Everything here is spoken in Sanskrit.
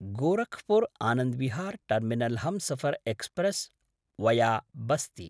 Gorakhpur Anand Vihar terminal Humsafar express via Basti